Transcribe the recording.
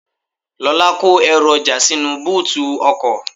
Lola kó èru oja sínú bóòtù ọkọ̀.